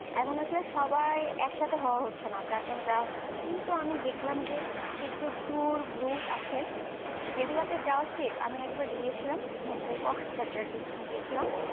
এখন আসলে সবাই একসাথে হওয়া হচ্ছেনা তারজন্য যাওয়া হচ্ছে হয় তো আমি দেখলাম যে কিছু tour group আছে জগুলাতে যাওয়া safe আমি একবার গিয়েছিলাম হচ্ছে cockeses বাজার গিয়েছিলাম